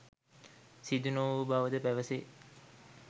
සිදු නොවූ බවද පැවසේ.